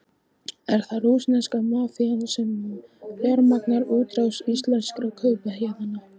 Er það rússneska mafían sem fjármagnar útrás íslenskra kaupahéðna?